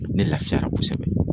Ne lafiyara kosɛbɛ